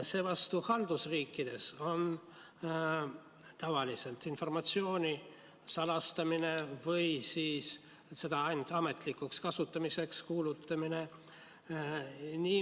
Seevastu haldusriikides on tavaliselt informatsiooni salastamine või siis selle ainult ametlikuks kasutamiseks kuulutamine.